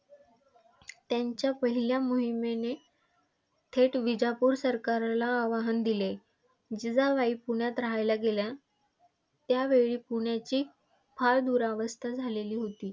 त्यांच्या पहिल्या मोहिमेने थेट विजापूर सरकारला आव्हान दिले. जिजाबाई पुण्यात रहायला गेल्या त्यावेळेस पुण्याची फार दुरावस्था झालेली होती.